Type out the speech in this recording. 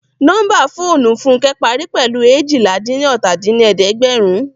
Nọ́mbà fóònù Fúnkẹ́ parí pẹ̀lú eéjìlá-dín-ní-ọ́ta dín ní ẹ̀ẹ́dẹ́gbẹ́run